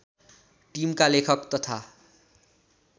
टिम्का लेखक तथा